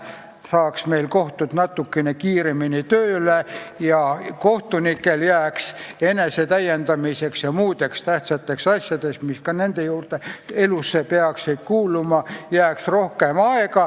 Siis saaks meil kohtud natukene kiiremini tööle ja kohtunikel jääks rohkem aega enesetäiendamiseks ja muudeks tähtsateks asjadeks, mis ka nende elusse peaksid kuuluma.